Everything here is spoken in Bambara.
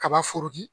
Kaba foroki